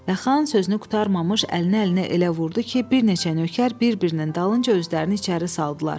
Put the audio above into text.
Və xan sözünü qurtarmamış əlini əlinə elə vurdu ki, bir neçə nökər bir-birinin dalınca özlərini içəri saldılar.